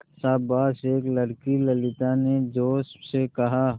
शाबाश एक लड़की ललिता ने जोश से कहा